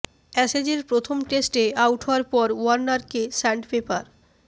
অ্যাসেজের প্রথম টেস্টে আউট হওয়ার পর ওয়ার্নারকে স্যান্ড পেপার